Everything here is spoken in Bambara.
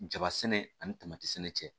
Jaba sɛnɛ ani sɛnɛ cɛ